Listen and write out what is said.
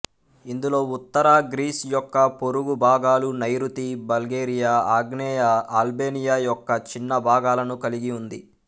ఇందులో ఉత్తర గ్రీస్ యొక్క పొరుగు భాగాలు నైరుతి బల్గేరియా ఆగ్నేయ అల్బేనియా యొక్క చిన్న భాగాలను కలిగి ఉంది